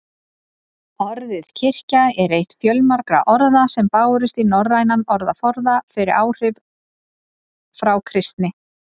Orðið kirkja er eitt fjölmargra orða sem bárust í norrænan orðaforða fyrir áhrif frá kristni.